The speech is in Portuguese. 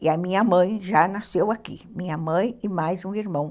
E a minha mãe já nasceu aqui, minha mãe e mais um irmão.